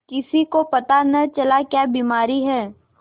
किसी को पता न चला क्या बीमारी है